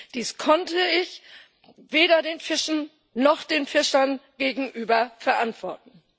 Dies konnte ich weder den Fischen noch den Fischern gegenüber verantworten.